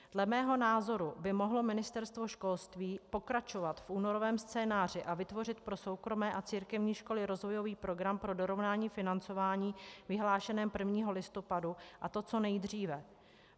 Dle mého názoru by mohlo Ministerstvo školství pokračovat v únorovém scénáři a vytvořit pro soukromé a církevní školy rozvojový program pro dorovnání financování vyhlášené 1. listopadu, a to co nejdříve.